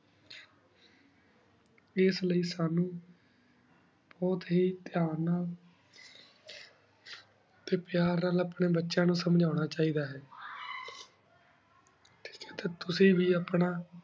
ਇਸ ਲਾਏ ਸਾਨੂ ਬੁਹਤ ਹੇ ਦੇਹਾਂ ਨਾਲ ਟੀ ਪਯਾਰ ਨਾਲ ਅਪਨੀ ਬਚਿਯਾਂ ਨੂ ਸਮਝਾਨਾ ਚਾਹੀ ਦਾ ਆਯ ਟੀ ਤੁਸੀਂ ਵੇ ਆਪਣਾ